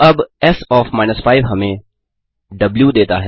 अब S OF 5 हमें द्व देता है